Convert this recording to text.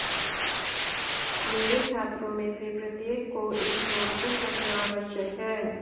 मेरे छात्रों में से प्रत्येक को एक नोटबुक रखना आवश्यक है